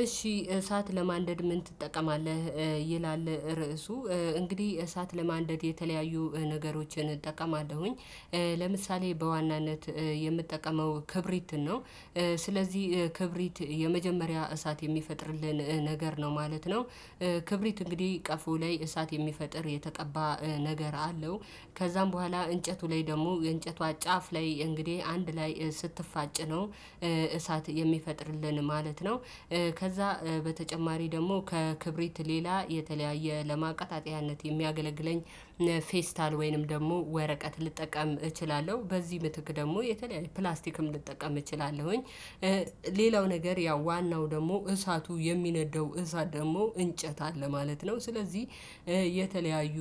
እሺ እሳት ለማንደድ ምን ትጠቀማለህ? ይላል ርዕሱ እንግዲህ እሳት ለማንደድ የተለያዩ ነገሮችን እጠቀማለሁኝ ለምሳሌ በዋናነት የምጠቀመው ክብሪት ነው። ስለዚህ ክብሪት የመጀመሪያ እሳት የሚፈጥርልን ነገር ነው ማለት ነው። ክብሪት እንግዲህ ቀፎ ላይ እሳት የሚፈጥር የተቀባ ነገር አለው። ከዛም በኋላ እንጨቱ ላይ ደግሞ የእንጨቷ ጫፍ ላይ እንግዲህ አንድ ላይ ስትፋጭ ነው እሳት የሚፈጥርልን ማለት ነው። ከዛ በተጨማሪ ደግሞ ከክብሪት ሌላ የተለያየ ለማቃጠያነት የሚያገለግለኝ ፌስታል ወይንም ደግሞ ወረቀት ልጠቀም እችላለሁ በዚህ ምትክ ደግሞ የተለያየ ፕላስቲክም ልጠቀም እችላለሁኝ። ሌላው ነገር ያው ዋናው ደግሞ እሳቱ የሚነደው እሳት ደግሞ እንጨት አለ ማለት ነው። ስለዚህ የተለያዩ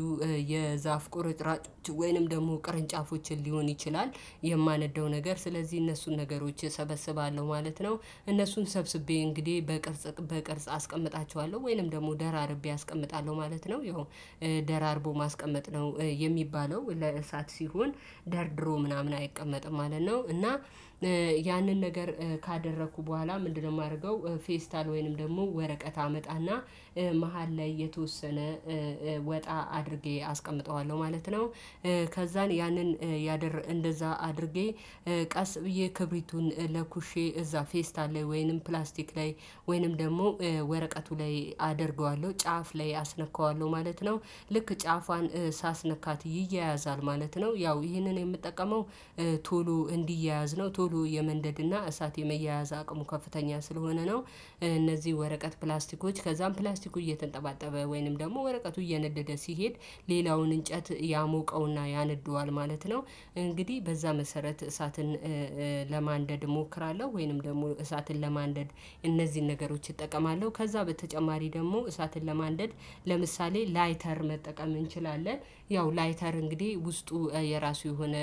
የዛፍ ቁርጭራጮች ወይንም ደግሞ ቅርንጫፎችን ሊሆን ይችላል የማነደው ነገር ስለዚህ እነሱን ነገሮች እሰበስባለሁ ማለት ነው። እነሱን ሰብስቤ እንግዲህ በቅርጽ አስቀምጣቸዋለሁ ወይንም ደግሞ ደራርቤ አስቀምጣለሁ ማለት ነው። ይሄው ደራርቦ ማስቀመጥ ነው። የሚባለው ለእሳት ሲሆን ደርድሮ ምናምን አይቀመጥም ማለት ነው። እና ያንን ነገር ካደረኩ በኋላ ምንድነው የማደርገው ፌስታል ወይንም ደግሞ ወረቀት አመጣና መሃል ላይ የተወሰነ ወጣ አድርጌ አስቀምጠዋለሁ ማለት ነው። ከዛን ያንን ያደር እንደዛ አድርጌ ቀስ ብዬ ክብሪቱን ለኩሼ እዛ ፌስታል ላይ ወይንም ፕላስቲክ ላይ ወይንም ደግሞ ወረቀቱ ላይ አደርገዋለሁ ጫፍ ላይ አስነካዋለሁ ማለት ነው። ልክ ጫፏን ሳስነካት ይያያዛል ማለት ነው። ያው ይህንን የምጠቀመው ቶሎ እንዲያያዝ ነው ቶሎ የመንደድና እሳት የመያያዝ አቅሙ ከፍተኛ ስለሆነ ነው። እነዚህ ወረቀት ፕላስቲኮች ከዛም ፕላስቲኩ እየተንጠባጠበ ወይንም ደግሞ ወረቀቱ እየነደደ ሲሄድ ሌላውን እንጨት ያሞቀውና ያነደዋል ማለት ነው። እንግዲህ በዛ መሰረት እሳትን ለማንደድ እሞክራለሁ ወይንም ደግሞ እሳትን ለማንደድ እነዚህን ነገሮች እጠቀማለሁ ከዛ በተጨማሪ ደግሞ እሳትን ለማደድ ለምሳሌ ላይተር መጠቀም እንችላለን። ያው ላይተር እንግዲህ ውስጡ የራሱ የሆነ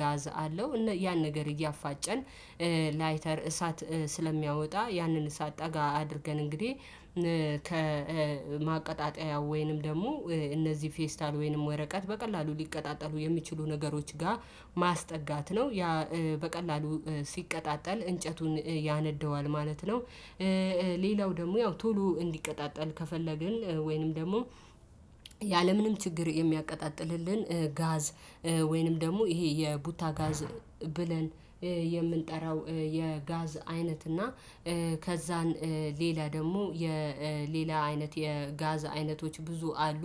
ጋዝ አለው ያን ነገር እያፋጨን ላይተር እሳት ስለሚያወጣ ያንን እሳት ጠጋ አድርገን እንግዲህ ከማቀጣጠያ ወይንም ደግሞ እነዚህ ፌስታል ወይንም ወረቀት በቀላሉ ሊቀጣጠሉ የሚችሉ ነገሮች ጋር ማስጠጋት ነው። በቀላሉ ሲቀጣጠል እንጨቱን ያነደዋል ማለት ነው። ሌላው ደግሞ ያው ቶሎ እንዲቀጣጠል ከፈለግን ወይንም ደግሞ ያለምንም ችግር የሚያቀጣጥልልን ጋዝ ወይንም ደግሞ ይሄ የቡታ ጋዝ ብለን የምንጠራው የጋዝ አይነት እና ከዛን ሌላ ደግሞ የሌላ አይነት የጋዝ አይነቶች ብዙ አሉ።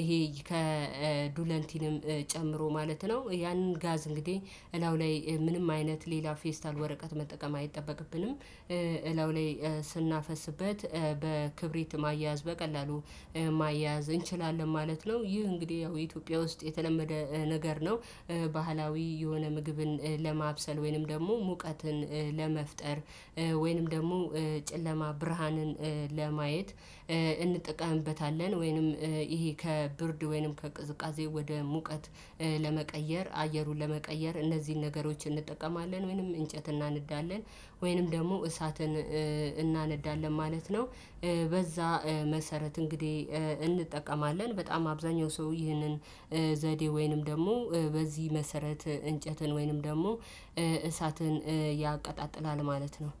ይሄ ከዱለንቲንም ጨምሮ ማለት ነው ያንን ጋዝ እንግዲህ እላው ላይ ምንም አይነት ሌላ ፌስታል ወረቀት መጠቀም አይጠበቅብንም እላዩ ላይ ስናፈስበት በክብሪት ማያያዝ በቀላሉ ማያያዝ እንችላለን ማለት ነው። ይህ እንግዲህ ያው ኢትዮጵያ ውስጥ የተለመደ ነገር ነው። ባህላዊ የሆነ ምግብን ለማብሰል ወይንም ደግሞ ሙቀትን ለመፍጠር ወይንም ደግሞ ጨለማ ብርሃንን ለማየት እንጠቀምበታለን ወይንም ይሄ ከብርድ ወይንም ከቅዝቃዜ ወደ ሙቀት ለመቀየር አየሩን ለመቀየር እነዚህን ነገሮች እንጠቀማለን ወይንም እንጨት እናነዳለን ወይንም ደግሞ እሳትን እናነዳለን ማለት ነው። በዛ መሰረት እንግዲህ እንጠቀማለን በጣም አብዛኛው ሰው ይህንን ዘዴ ወይንም ደግሞ በዚህ መሰረት እንጨትን ወይንም ደግሞ እሳትን ያቀጣጥላል ማለት ነው።